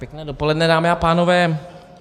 Pěkné dopoledne, dámy a pánové.